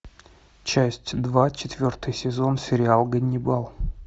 часть два четвертый сезон сериал ганнибал